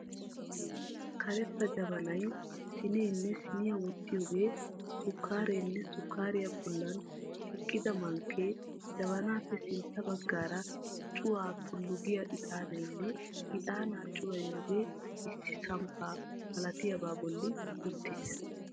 Karetta jabanay, siineenne siniya wottiyogee, sukkaareenne sukkaariya bollan eqqida mankkee, jabanaappe sintta baggaara cuwaa tullu giya ixaanaynne ixaanaa cuwayiyogee issi samppa malatiyabaa bolli uttiis.